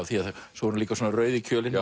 svo er hún líka rauð í kjölinn